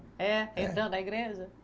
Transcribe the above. É, entrando na igreja?